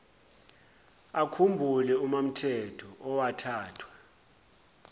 akhumbule umamthethwa owathathwa